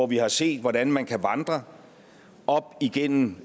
vi har set hvordan man kan vandre op igennem